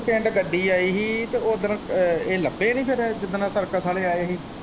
ਪਿੰਡ ਗੱਡੀ ਆਈ ਹੀ ਤੇ ਓਦਨ ਏਹ ਲੱਭੇ ਨੀ ਫੇਰ ਜਿਦਨ ਸਰਕਸ਼ ਆਲੇ ਆਏ ਹੀ।